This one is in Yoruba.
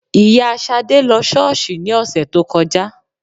Ìyá Ṣadé lọ sí ṣọ́ọ́ṣì ní ọ̀sẹ̀ tó kọjá